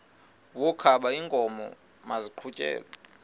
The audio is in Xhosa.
wokaba iinkomo maziqhutyelwe